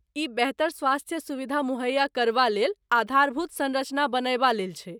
ई बेहतर स्वास्थ्य सुविधा मुहैया करबा लेल आधारभूत सँरचना बनयबा लेल छै।